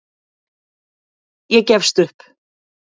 Ég gefst upp.